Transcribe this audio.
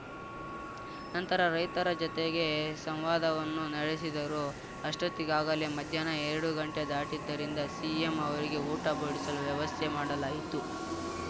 ನಂತರ ರೈತರ ಜತೆಗೆ ಸಂವಾದವನ್ನೂ ನಡೆಸಿದರು ಅಷ್ಟೊತ್ತಿಗಾಗಲೇ ಮಧ್ಯಾಹ್ನ ಎರಡು ಗಂಟೆ ದಾಟಿದ್ದರಿಂದ ಸಿಎಂ ಅವರಿಗೆ ಊಟ ಬಡಿಸಲು ವ್ಯವಸ್ಥೆ ಮಾಡಲಾಯಿತು